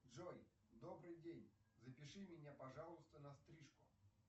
джой добрый день запиши меня пожалуйста на стрижку